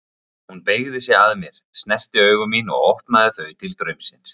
Hún beygði sig að mér, snerti augu mín og opnaði þau til draumsins.